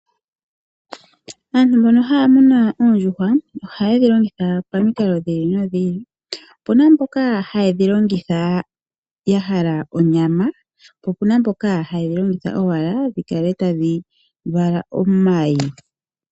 Aantu mbona haya muna oondjuhwa ohaye dhilongitha pamikalo dhi ili nodhi ili. Opuna mboka haye dhilongitha yahala onyama ,po opuna mboka haye dhilongitha owala dhikale tadhi vala omayi.